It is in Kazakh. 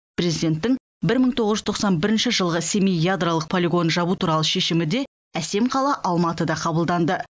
президенттің бір мың тоғыз жүз тоқсан бірінші жылғы семей ядролық полигонын жабу туралы шешімі де әсем қала алматыда қабылданды